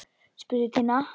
spurði Tinna.